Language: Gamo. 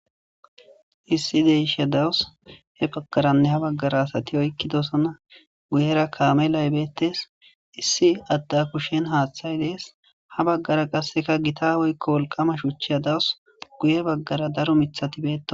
lssi deisha dawus hebagaranne habaggara asati oykkidosona guyera kaame laybeettes issi adda kushen haaththay dees habaggara qasseka gita woykko wolqama shuchiya dawus guye baggara daro mithatibeeto.